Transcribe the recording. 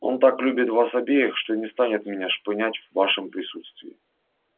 он так любит вас обеих что не станет меня шпынять в вашем присутствии